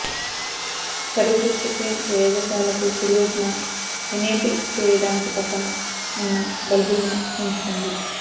పరిదృశ్య pane ప్రయోగశాలకు కుడివైపున enable చేయడానికి పక్కన ఉన్న బబుల్ను ఎంచుకోండి